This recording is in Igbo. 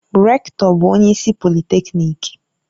Rektọ bụ onye isi polịtekniki